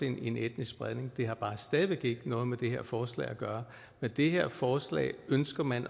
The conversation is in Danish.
en etnisk spredning det har bare stadig væk ikke noget med det her forslag at gøre med det her forslag ønsker man